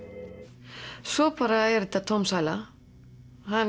svo bara er þetta tóm sæla hann